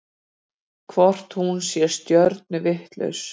Hvort hún sé stjörnuvitlaus?